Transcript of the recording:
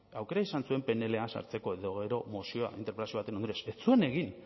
aukera izan zuen pnla sartzeko edo gero mozioa interpelazio baten ondorioz ez zuen egin